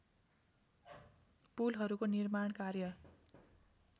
पुलहरूको निर्माण कार्य